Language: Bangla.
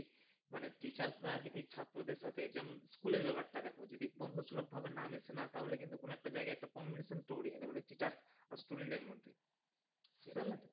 মানে teachers রা যদি ছাত্রদের সাথে যেমন school এর ব্যাপারটা দেখো যদি বন্ধু ভাবে না মিশে না তাহলে কিন্তু কোন একটা জায়গায় একটা communication তৈরি হয় না মানে teacher আর student এর মধ্যে বুঝতে পারলে তো।